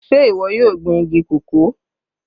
Sé ìwọ yóò gbin igi cocoa?